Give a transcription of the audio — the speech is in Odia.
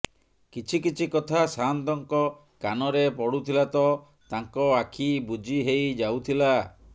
କିଛି କିଛି କଥା ସାଆନ୍ତଙ୍କ କାନରେ ପଡୁଥିଲା ତ ତାଙ୍କ ଆଖି ବୁଜି ହେଇ ଯାଉଥିଲା